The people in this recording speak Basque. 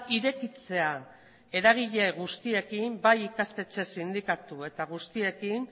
irekitzea eragile guztiekin bai ikastetxe sindikatu eta guztiekin